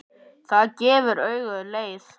Það gefur auga leið.